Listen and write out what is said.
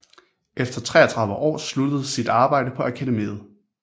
Efter 33 år sluttede sit arbejde på Akademiet